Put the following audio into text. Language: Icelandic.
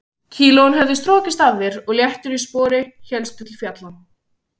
Kílóin höfðu strokist af þér og léttur í spori hélstu til fjalla.